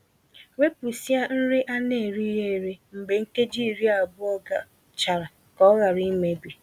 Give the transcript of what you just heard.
Wepusịa nri a na-erighi eri mgbe nkeji iri abụọ gachara ka ọ ghara imebi.